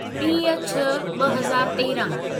टीह छह ॿ हज़ार तेरहं